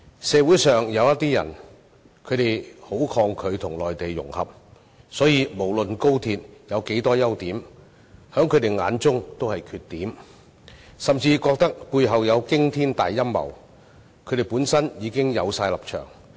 社會上有些人很抗拒與內地融合，所以無論廣深港高速鐵路有多少優點，在他們眼中也是缺點，甚至認為背後有驚天大陰謀，本身已有既定立場。